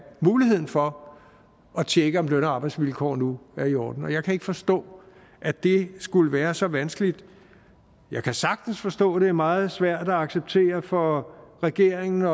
muligheden for at tjekke om løn og arbejdsvilkår nu er i orden jeg kan ikke forstå at det skulle være så vanskeligt jeg kan sagtens forstå at det er meget svært at acceptere for regeringen